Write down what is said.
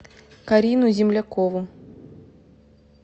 карину землякову